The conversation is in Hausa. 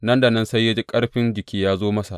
Nan da nan sai ya ji ƙarfin jiki ya zo masa.